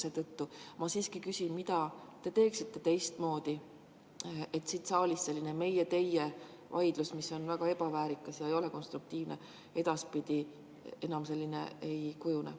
Seetõttu ma küsin, mida te teeksite teistmoodi, et siin saalis enam sellist meie-teie vaidlust, mis on väga ebaväärikas ega ole konstruktiivne, ei kujuneks?